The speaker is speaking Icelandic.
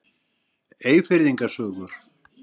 Eyfirðinga sögur.